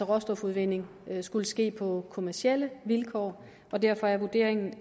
råstofudvinding skulle ske på kommercielle vilkår og derfor er vurderingen